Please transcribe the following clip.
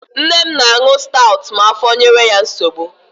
Nne m na-aṅu stawụt ma afọ nyewe ya nsogbu.